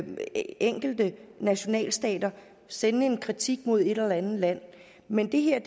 enkelte nationalstater sende en kritik mod et eller andet land men det her